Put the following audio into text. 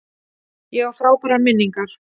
Ég á frábærar minningar.